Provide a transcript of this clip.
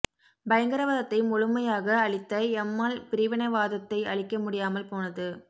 பயங்கரவாதத்தை முழுமையாக அழித்த எம்மாள் பிரிவினைவாதத்தை அழிக்க முடியாமல் போனது